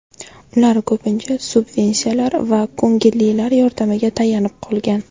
Ular ko‘pincha subvensiyalar va ko‘ngillilar yordamiga tayanib qolgan.